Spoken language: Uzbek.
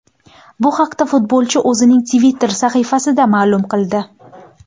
Bu haqda futbolchi o‘zining Twitter sahifasida ma’lum qildi.